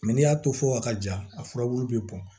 Mɛ n'i y'a to fɔ a ka ja a furabulu bɛ bɔn